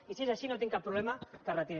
i si és així no tinc cap problema que es retirin